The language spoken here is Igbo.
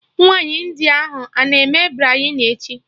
Nwaanyi India ahụ a na-eme Biryani echi?